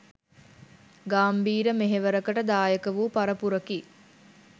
ගාම්භීර මෙහෙවරකට දායකවූ පරපුරකි